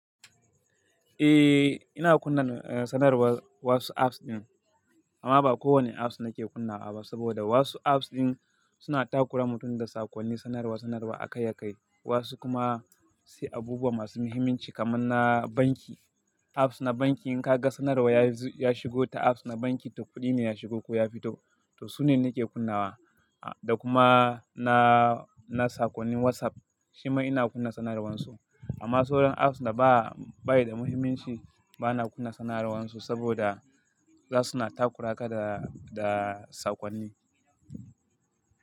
Eh, ina kunna sanarwar wasu apps ɗin amma ba kowanne apps nake kunnawa ba saboda wasu apps ɗin suna takurawa mutum da sakonnin sanarwa sanarwa akai-akai. Wasu kuma sai abubuwa masu muhimmanci kamar na banki. Apps na banki in ka ga sanarwa ya shigo ta apps na banki, to kuɗi ne ya shigo ko ya fito, to su ne nake kunnawa. Da kuma na, na sakwannin WhatsApp shima ina kunna sanarwar su. Amma sauran apps da ba, ba yi da muhimmanci bana kunna sanarwar su saboda za su na takura ka da, da sakwanni.